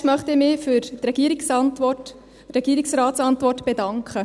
Zuerst möchte ich mich für die Regierungsratsantwort bedanken.